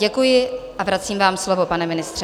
Děkuji a vracím vám slovo, pane ministře.